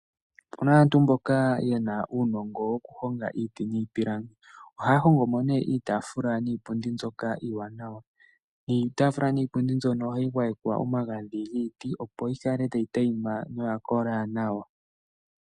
Okuna aantu mboka yena uunongo woku honga iiti niipilangi. Ohaya hongomo ne iitafula niipundi mbyoka iiwanawa. Iitafula niipundi mbyono ohayi gwayekwa omagadhi giiti, opo yi kale tayi teyima noya kola nawa.